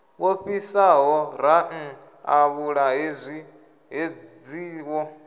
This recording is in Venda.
wo fhisaho ranḓavhula hedzi wo